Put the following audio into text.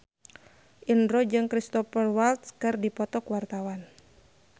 Indro jeung Cristhoper Waltz keur dipoto ku wartawan